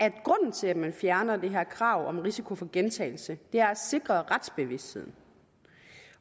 til at man fjerner det her krav om risiko for gentagelse er at sikre retsbevidstheden